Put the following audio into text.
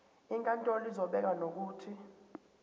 inkantolo izobeka nokuthi